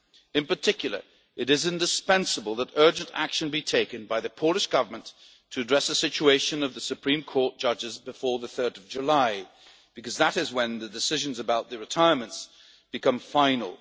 by us. In particular, it is indispensable that urgent action be taken by the Polish Government to address the situation of the Supreme Court judges before 3 July, because that is when the decisions about the retirements become